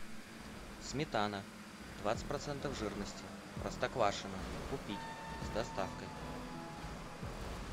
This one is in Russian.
сметана двадцать процентов жирности простоквашино купить с доставкой